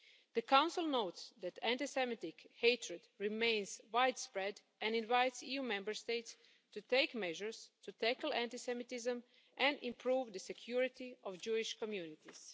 The Council notes that anti Semitic hatred remains widespread and invites EU Member States to take measures to tackle anti Semitism and improve the security of Jewish communities.